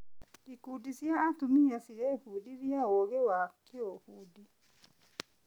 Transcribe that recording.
Ikundi cia atumia cirebundithia ũũgĩ wa kĩũbundi.